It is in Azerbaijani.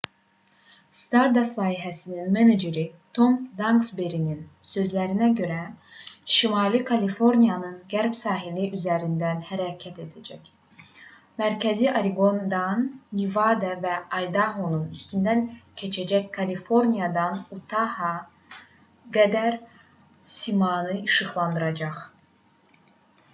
stardust layihəsinin meneceri tom daksberinin sözlərinə görə o şimali kaliforniyanın qərb sahili üzərində hərəkət edəcək mərkəzi oreqondan nevada və aydahonun üstündən keçərək kaliforniyadan utaha qədər səmanı işıqlandıracaq